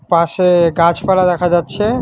পাশে গাছপালা দেখা যাচ্ছে।